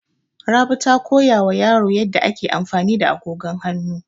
Rabi ta koya wa yaro yadda ake amfani da agogon hanu.